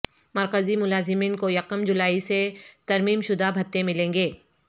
مرکزی ملازمین کو یکم جولائی سے ترمیم شدہ بھتے ملیں گے